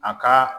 A ka